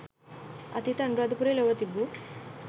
අතීත අනුරාධපුරය ලොව තිබූ